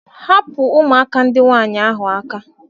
Hapụ ụmụaka nwaanyị ndị ahụ aka!